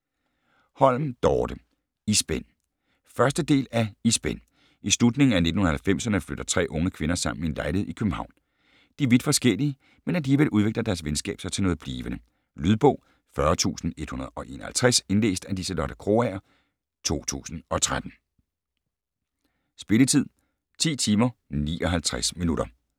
Holm, Dorte: I spænd 1. del af I spænd. I slutningen af 1990'erne flytter tre unge kvinder sammen i en lejlighed i København. De er vidt forskellige, men alligevel udvikler deres venskab sig til noget blivende. Lydbog 40151 Indlæst af Liselotte Krogager, 2013. Spilletid: 10 timer, 59 minutter.